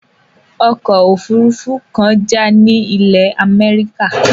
Okò òfurufú kan já ni ilè America